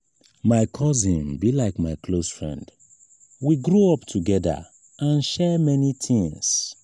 my cousin be like my close friend we grow up togeda and share many tins.